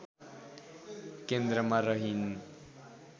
केन्द्रमा रहिन्